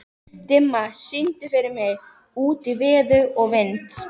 Dimma, syngdu fyrir mig „Út í veður og vind“.